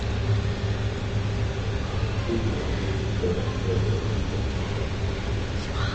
фильмы режиссера федора бондарчука